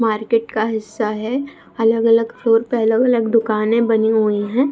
market का हिस्सा है अलग-अलग फ्लोर पे अलग-अलग दुकाने बनी हुई हैं |